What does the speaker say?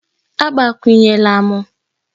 Agbakwunyela m!